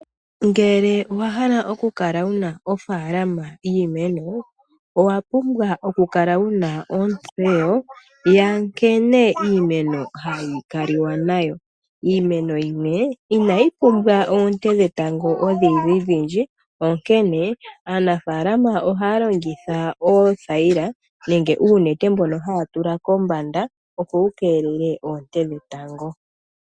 Ngele owa hala oku kala wuna ofaalama yiimeno owa pumbwa oku kala wuna ontseyo yankene iimeno hayi kaliwa nayo. Iimeno yimwe inayi pumbwa oonte dhetango odhindji dhindji onkene aanafalama ohaya tulako oothayila nenge uunete mbono haya tula kombanda, opo wu keelele oonte dhetango.